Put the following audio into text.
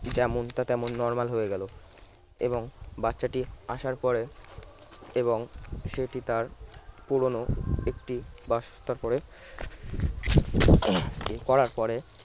যেমনটা তেমনটা normal হয়ে গেল এবং বাচ্চাটি আসার পরে এবং সেটি তার পুরনো একটি করে করার পরে